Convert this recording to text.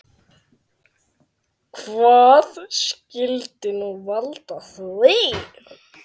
Hvað skyldi nú valda því?